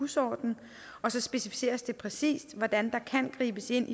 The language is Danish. husorden og så specificeres det præcist hvordan der kan gribes ind